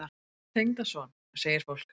Tengdason? segir fólk.